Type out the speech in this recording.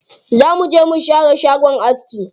Za mu je mu share shagon aski.